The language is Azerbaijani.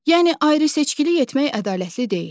Yəni ayrı-seçkilik etmək ədalətli deyil.